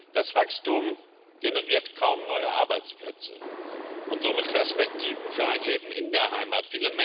Das Wachstum generiert kaum neue Arbeitsplätze und somit Perspektiven für ein Leben in der Heimat.